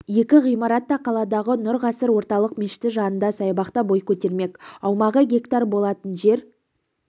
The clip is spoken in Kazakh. екі ғимарат та қаладағы нұр ғасыр орталық мешіті жанында саябақта бой көтермек аумағы гектар болатын жер